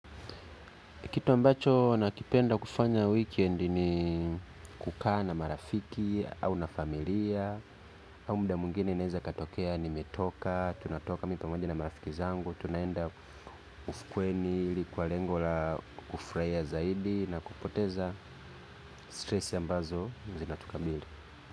Kitu ambacho nakipenda kufanya weekend ni kukaa na marafiki au na familia au mda mwingine inaeza ikatokea nimetoka, tunatoka mimi pamoja na marafiki zangu tunaenda ufukweni ili kwa lengo la kufuraia zaidi na kupoteza stress ambazo zinatukabili.